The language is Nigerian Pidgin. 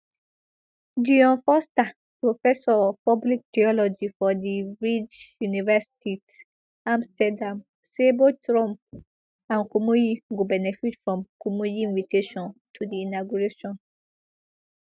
dion forster professor of public theology for di vrije universiteit amsterdam say both trump and kumuyi go benefit from kumuyi invitation to di inauguration